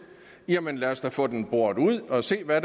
jamen lad os da få den boret ud og se hvad